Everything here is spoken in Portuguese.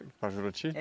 Para Juruti?